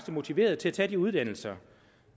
motiverede til at tage de uddannelser